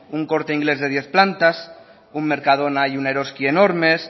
un corte inglés de diez plantas un mercadona y un eroski enormes